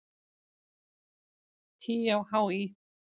HÍ á HÍ!